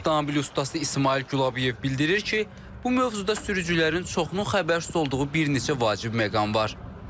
Avtomobil ustası İsmayıl Gülabıyev bildirir ki, bu mövzuda sürücülərin çoxunun xəbərsiz olduğu bir neçə vacib məqam var.